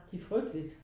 Det er frygteligt